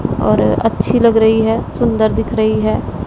और अच्छी लग रही है सुंदर दिख रही है।